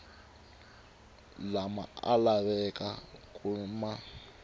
lama a lavaka ku ma